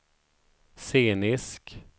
scenisk